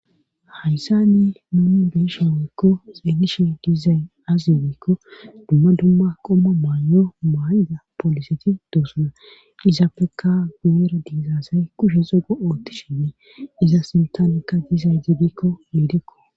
Hayssa ni nuni biishe woykko xeenishe dizayn azyibiikko dumma dumma qomma maayy7o maa7ida poliseti doosuna izappekka goera diizazay kushe xogo ootti shinni iza sintamekka dizay ibiikko miidekko